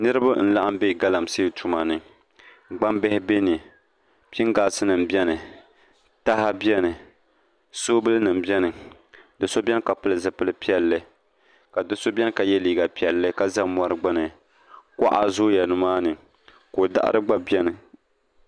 Niraba n laɣam bɛ galamsee tuma ni gbambihi biɛni pingaas nim biɛni taha biɛni soobuli nim biɛni ni so biɛni ka pili zipili piɛlli ka do so biɛni ka yɛ liiga piɛlli ka za mori gbuni kuɣa zooya nimaani ko daɣari gba biɛni